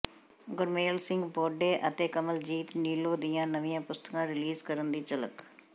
ਗੁਰਮੇਲ ਸਿੰਘ ਬੌਡੇ ਅਤੇ ਕਮਲਜੀਤ ਨੀਲੋਂ ਦੀਆਂ ਨਵੀਆਂ ਪੁਸਤਕਾਂ ਰਿਲੀਜ਼ ਕਰਨ ਦੀ ਝਲਕ